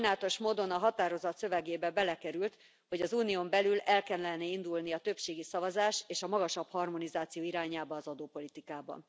Sajnálatos módon a határozat szövegébe belekerült, hogy az Unión belül el kellene indulni a többségi szavazás és a magasabb harmonizáció irányába az adópolitikában.